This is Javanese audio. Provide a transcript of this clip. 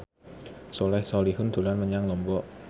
Soleh Solihun dolan menyang Lombok